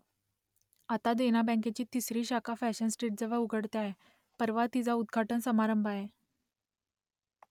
आता देना बँकेची तिसरी शाखा फॅशन स्ट्रीटजवळ उघडते आहे परवा तिचा उद्घाटन समारंभ आहे